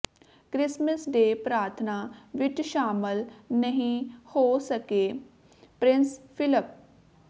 Christmas day ਪ੍ਰਾਰਥਨਾ ਵਿਚ ਸ਼ਾਮਲ ਨਹੀਂ ਹੋ ਸਕੇ ਪ੍ਰਿੰਸ ਫਿਲਪ